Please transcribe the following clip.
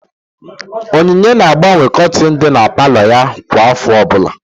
Onyinye na-agbanwe kortin dị n'palo ya kwa afọ ọbụla